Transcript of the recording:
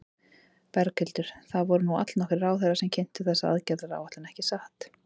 Berghildur, það voru nú allnokkrir ráðherrar sem kynntu þessa aðgerðaráætlun, ekki satt?